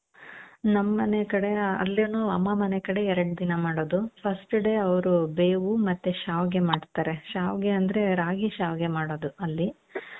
ನಮ್ಮನೆ ಕಡೆ ಅಲ್ಲೀನು ಅಮ್ಮ ಮನೆ ಕಡೆ ಎರಡ್ ದಿನ ಮಾಡೋದು first day ಅವರು ಬೇವು ಮತ್ತೆ ಶ್ಯಾವಿಗೆ ಮಾಡ್ತಾರೆ ಶ್ಯಾವಿಗೆ ಅಂದ್ರೆ ರಾಗಿ ಶ್ಯಾವಿಗೆ ಮಾಡೋದು ಅಲ್ಲಿ .